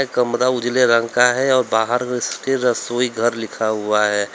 कमरा उजले रंग कहां है और बाहर रसोई घर लिखा हुआ है।